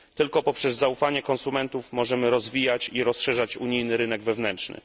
Tylko poprzez zaufanie konsumentów możemy rozwijać i rozszerzać unijny rynek wewnętrzny.